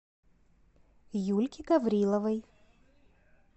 юльки гавриловой